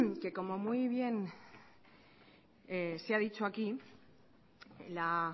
que como muy bien se ha dicho aquí la